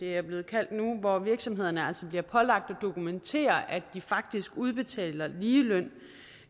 er blevet kaldt hvor virksomhederne altså bliver pålagt at dokumentere at de faktisk udbetaler ligeløn